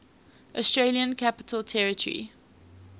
australian capital territory